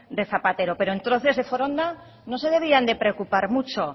de zapatero pero entonces de foronda no se debían de preocupar mucho